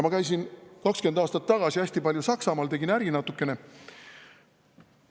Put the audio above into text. Ma käisin 20 aastat tagasi hästi palju Saksamaal, tegin natukene äri.